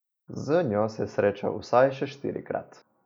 Z njo se je srečal vsaj štirikrat.